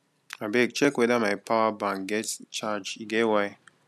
abeg check weda my power bank get charge e get why